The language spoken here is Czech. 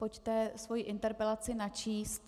Pojďte svoji interpelaci načíst.